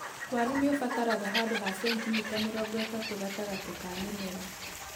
Waru nĩũbataraga handũ ha cenitimita mĩrongo itatũ gatagatĩ ka mĩmera.